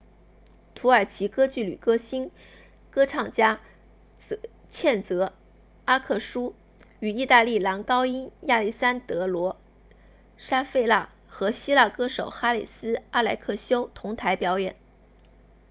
土耳其歌剧女歌唱家茜泽阿克苏 sezen aksu 与意大利男高音亚历山德罗沙费纳 alessandro safina 和希腊歌手哈里斯阿莱克修 haris alexiou 同台表演